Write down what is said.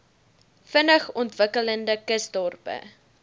vinnig ontwikkelende kusdorpe